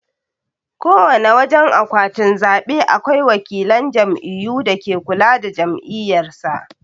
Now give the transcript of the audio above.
Kowana wajan akwatin zabe akwai wakilan jam'iyyu dake kula da jam'iyyar sa.